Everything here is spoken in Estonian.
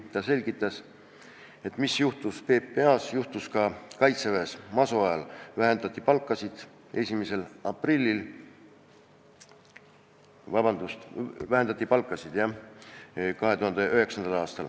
Ta selgitas, et mis juhtus PPA-s, juhtus ka Kaitseväes masu ajal – 2009. aastal vähendati palkasid.